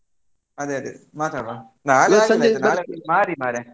ಅದೇ ಅದೇ ಮಾತಾಡ್ವ ನಾಳೆ ಆಗುದಿಲ್ಲ. ನಾಳೆ ಮಾರಿ ಮಾರಯಾ. `